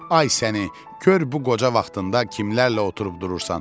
Ay səni, gör bu qoca vaxtında kimlərlə oturub durursan?